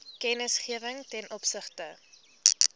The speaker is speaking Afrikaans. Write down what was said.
kennisgewing ten opsigte